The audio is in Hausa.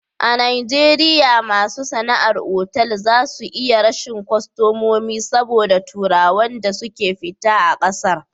A najeriya masu sana'ar otal za su iya rashin kostamomi saboda turawan da suke fita a ƙasar